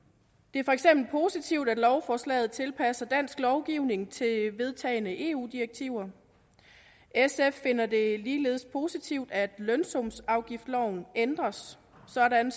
er for eksempel positivt at lovforslaget tilpasser dansk lovgivning til vedtagne eu direktiver sf finder det ligeledes positivt at lønsumsafgiftsloven ændres sådan